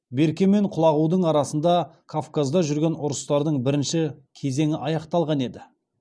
берке мен құлағудың арасында кавказда жүрген ұрыстардың бірінші кезеңі аяқталған еді